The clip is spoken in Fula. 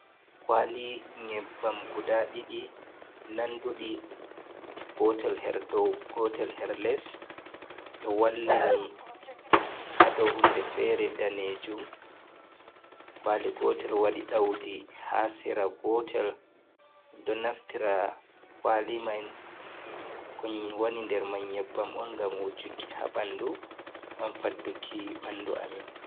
Kwali nyebbam guda ɗiɗi nanduɗi. Gotel her dou, gotel her les. Ɗo wallini ha dou hunde fere danejum. Kwali gotel waɗi ɗaudi ha sera gotel. Ɗo naftira kwali man kon woni nder man nyebbam on ngam wojuki ha ɓandu nanta faddu ki bandu amin.